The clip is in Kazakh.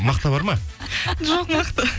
мақта бар ма жоқ мақта